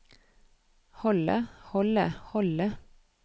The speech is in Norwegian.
holde holde holde